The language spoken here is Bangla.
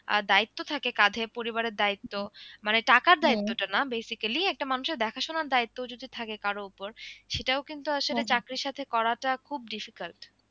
আহ দায়িত্ব থাকে কাঁধে পরিবারের দায়িত্ব মানে টাকার দায়িত্বটা না basically একটা মানুষের দেখাশোনার দায়িত্ব যদি থাকে কারো উপর সেটাও কিন্তু আসলে চাকরির সাথে করাটা খুব difficult